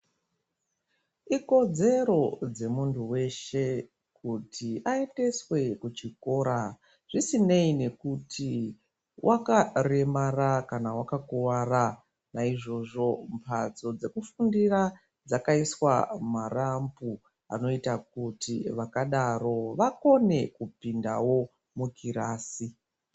Ikodzero dzemuntu weshe kuti aendeswe kuchikora zvisinei nekuti wakaremara kana wakakuwara naizvozvo mbatso dzekufundira dzakaiswa marambu anoita kuti vantu vakadaro vakone kupinda mukirasi.